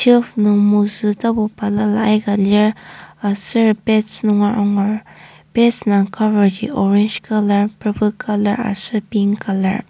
shelf nung mozü tapu balala aika lir aser pads nunger angur pads indang cover ji orange colour purple colour aser pink colour .